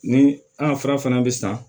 Ni an ka fura fana bɛ san